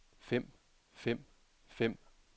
fem fem fem